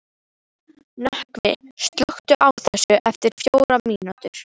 Nökkvi, slökktu á þessu eftir fjórar mínútur.